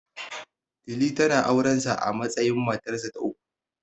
Lili, tana auren sa a matsayin matarsa ta uku.